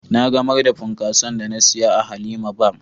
Na gamar da punkason da na siya a 'Halima bar "